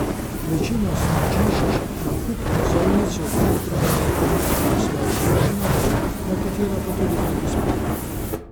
Večina smučišč nakup vozovnic v predprodaji ponuja na svojih blagajnah, nekatera pa tudi prek spleta.